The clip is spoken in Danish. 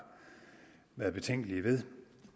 været betænkelige ved